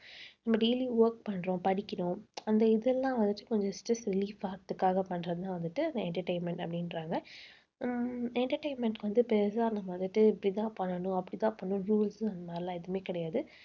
நம்ம daily work பண்றோம் படிக்கிறோம் அந்த இதெல்லாம் வந்துட்டு கொஞ்சம் stress release ஆகறதுக்காகப் பண்றதுதான் வந்துட்டு நான் entertainment அப்படின்றாங்க. உம் entertainment க்கு வந்து பெருசா நம்ம வந்துட்டு இப்படித்தான் பண்ணணும் அப்படித்தான் பண்ணணும் rules அந்த மாதிரி எல்லாம் எதுவுமே கிடையாது